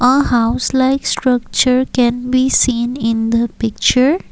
a house like structure can be seen in the picture.